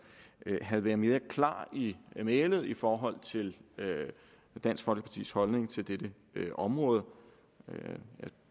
havde været mere klar i mælet i forhold til dansk folkepartis holdning til dette område jeg